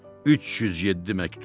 307 məktub.